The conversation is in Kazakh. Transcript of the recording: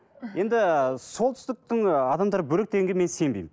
енді солтүстіктің ы адамдары бөлек дегенге мен сенбеймін